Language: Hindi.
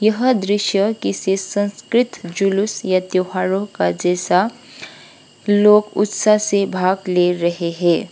यह दृश्य किसी संस्कृत जुलूस या त्योहारो का जैसा लोग उत्साह से भाग ले रहे हैं।